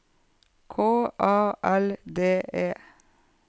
K A L D E